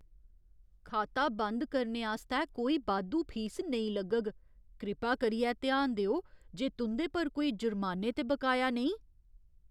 खाता बंद करने आस्तै कोई बाद्धू फीस नेईं लग्गग। कृपा करियै ध्यान देओ जे तुं'दे पर कोई जुर्माने ते बकाया नेईं ।